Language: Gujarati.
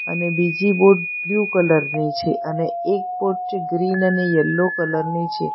અને બીજી બોટ બ્લુ કલર ની છે અને એક બોટ જે ગ્રીન અને યલો કલર ની છે.